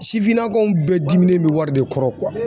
Sifinnakaw bɛɛ diminen bɛ wari de kɔrɔ